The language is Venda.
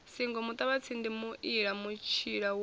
singo muṱavhatsindi muila mutshila wa